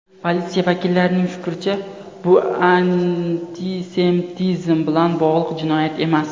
Politsiya vakillarining fikricha , bu antisemitizm bilan bog‘liq jinoyat emas.